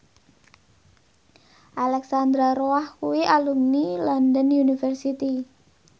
Alexandra Roach kuwi alumni London University